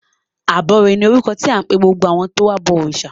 Abọrẹ̀ ni orúkọ tí à ń pe gbogbo àwọn tí ó ń ba wa bọ òrìṣà.